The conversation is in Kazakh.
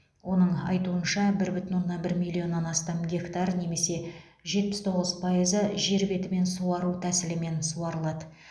оның айтуынша бір бүтін оннан бір миллионнан астам гектар немесе жетпіс тоғыз пайызы жер бетімен суару тәсілімен суарылады